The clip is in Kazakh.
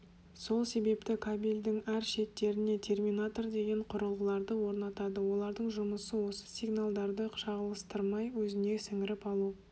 сол себепті кабельдің әр шеттеріне терминатор деген құрылғыларды орнатады олардың жұмысы осы сигналдарды шағылстырмай өзіне сіңіріп алу